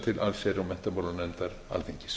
til allsherjar og menntamálanefndar alþingis